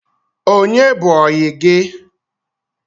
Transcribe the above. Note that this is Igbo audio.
Onye bụ oyi gi?